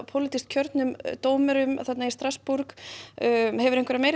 pólitískt kjörnum dómurum í Strassborg hefur þú meira